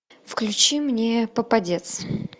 включи мне попадец